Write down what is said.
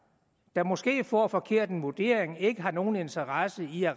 der måske får en forkert vurdering ikke har nogen interesse i at